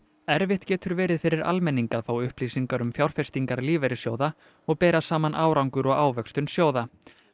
erfitt getur verið fyrir almenning að fá upplýsingar um fjárfestingar lífeyrissjóða og bera saman árangur og ávöxtun sjóða